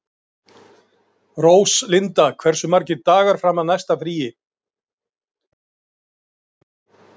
Mestu skiptir að á tunglinu er alls enginn lofthjúpur.